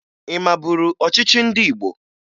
Ị maburu ọchịchị ndị Igbo?